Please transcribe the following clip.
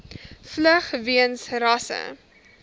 vlug weens rasse